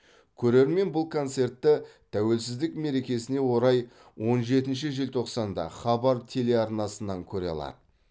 көрермен бұл концертті тәуелсіздік мерекесіне орай он жетінші желтоқсанда хабар телеарнасынан көре алады